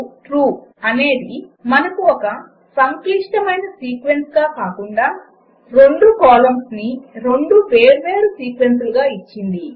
unpackTrue అనేది మనకు ఒక సంక్లిష్టమైన సీక్వెన్స్గా కాకుండా రెండు కాలమ్స్ ని రెండు వేర్వేరు సీక్వెన్సులుగా ఇచ్చింది